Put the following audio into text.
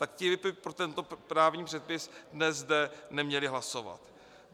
tak ti by pro tento právní předpis dnes zde neměli hlasovat.